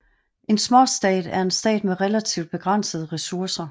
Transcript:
En småstat er en stat med relativt begrænsede ressourcer